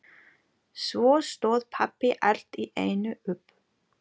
Svo stóð pabbi allt í einu upp.